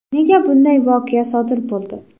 Nega bunday voqea sodir bo‘ldi?